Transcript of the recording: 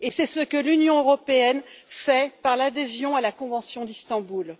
C'est ce que l'Union européenne fait par l'adhésion à la convention d'Istanbul.